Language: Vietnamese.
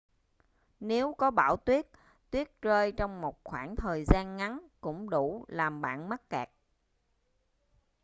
nếu có bão tuyết tuyết rơi trong một khoảng thời gian ngắn cũng đủ làm bạn mắc kẹt